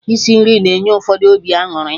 Isi nri na-enye ụfọdụ obi aṅụrị